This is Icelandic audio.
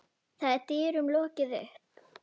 Þá er dyrum lokið upp.